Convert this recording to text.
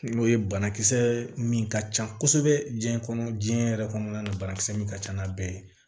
N'o ye banakisɛ min ka ca kosɛbɛ diɲɛ kɔnɔ diɲɛ yɛrɛ kɔnɔna na banakisɛ min ka ca n'a bɛɛ ye